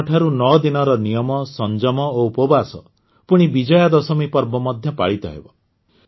ଏହି ଦିନଠାରୁ ନଅଦିନର ନିୟମ ସଂଯମ ଓ ଉପବାସ ପୁଣି ବିଜୟାଦଶମୀ ପର୍ବ ମଧ୍ୟ ପାଳିତ ହେବ